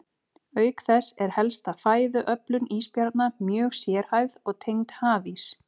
Auk þess er helsta fæðuöflun ísbjarna mjög sérhæfð og tengd hafís.